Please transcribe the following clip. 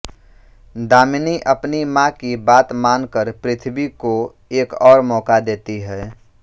दामिनी अपनी माँ की बात मान कर पृथ्वी को एक और मौका देती है